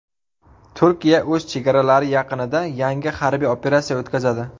Turkiya o‘z chegaralari yaqinida yangi harbiy operatsiya o‘tkazadi.